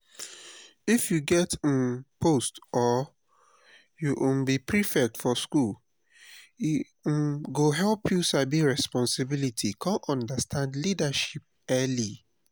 if u get um post or u um be prefect for school e um go help you sabi responsibility come understand leadership early